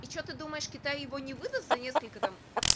и что ты думаешь китай его не выдаст за несколько там